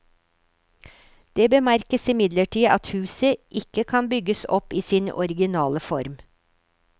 Det bemerkes imidlertid at huset ikke kan bygges opp i sin originale form.